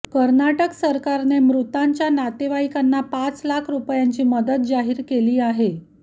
कर्नाटक सरकारने मृतांच्या नातेवाईकांना पाच लाख रुपयांची मदत जाहीर केली आहे